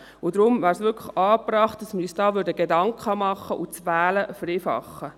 Deshalb wäre es wirklich angebracht, uns Gedanken darüber zu machen und das Wählen zu vereinfach.